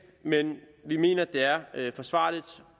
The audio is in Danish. men vi mener at det er forsvarligt